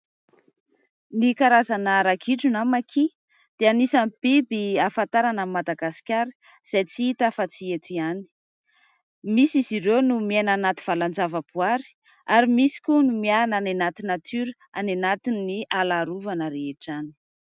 Ny karazana ragidro na maki dia anisany biby hahafantarana an'i Madagasikara, izay tsy hita afa-tsy eto ihany. Misy izy ireo no miaina anaty valan-java-boary ary misy koa no miana any anaty natiora, any anatin'ny ala arovana rehetra zany.